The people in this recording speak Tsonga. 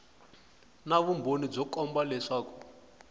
na vumbhoni byo komba leswaku